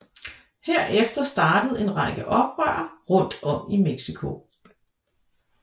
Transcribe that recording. Herefter startede en række oprør rundt om i Mexico